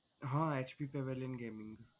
હા HP pavilion gaming